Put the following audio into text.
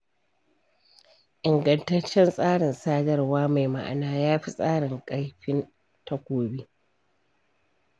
Ingantaccen tsarin sadarwa mai ma'ana, ya fi tasirin kaifin takobi.